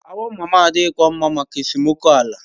Awo mama adikwaghị mma maka esemokwu ala.